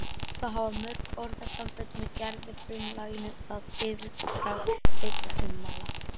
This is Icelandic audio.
Þá hafa mörg orðasambönd með gervifrumlaginu það yfirbragð beinna ummæla